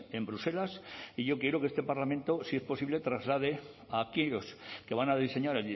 en bruselas y yo quiero que este parlamento si es posible traslade a aquellos que van a diseñar